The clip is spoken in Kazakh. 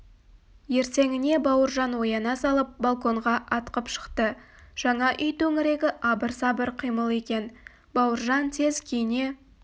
ертеңіне бауыржан ояна салып балконға атқып шықты жаңа үй төңірегі абыр-сабыр қимыл екен бауыржан тез киіне